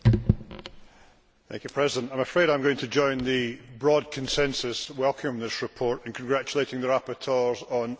Mr President, I am afraid I am going to join the broad consensus and welcome this report and congratulate the rapporteurs on an excellent job.